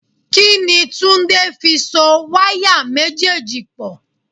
Kíni Túndé fi so wáyà méjèèjì pò?